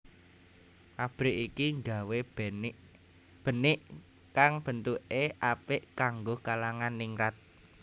Pabrik iki nggawé benik kang bentuke apik kanggo kalangan ningrat